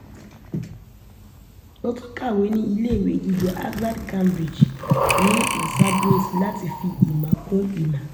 ó tún kàwé ní iléèwé gíga harvard cambridge ní massambwess láti fi ìmọ̀ kún ìmọ̀